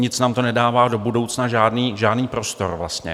Nic nám to nedává do budoucna, žádný prostor vlastně.